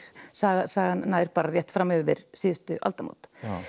sagan sagan nær bara rétt fram yfir síðustu aldamót